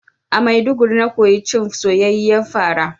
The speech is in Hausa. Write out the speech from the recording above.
A Maiduguri na koyi cin soyayyiyar fara